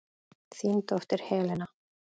Þín dóttir, Helena.